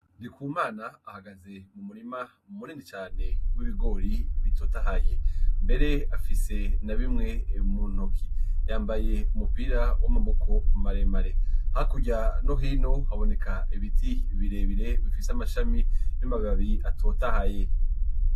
Ndikumana ahagaze mu murima mu murindi cane w'ibigori bitotahaye mbere afise na bimwe muntoki yambaye umupira w'amaboko ku maremare hakurya nohino haboneka ibiti birebire bifise amashami n'amababi atotahaye.